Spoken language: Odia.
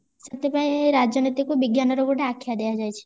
ସେଥିପାଇଁ ରାଜନୀତିକୁ ବିଜ୍ଞାନର ଗୋଟେ ଆଖ୍ୟା ଦିଅ ଯାଇଛି